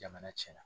Jamana cɛnna